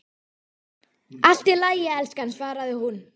Allt í lagi, elskan, svaraði hún.